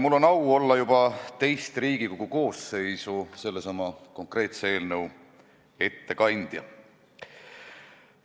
Mul on au olla juba teist Riigikogu koosseisu sellesama konkreetse eelnõu ettekandja.